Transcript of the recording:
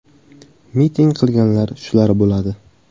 Miting qilganlar shular bo‘ladi.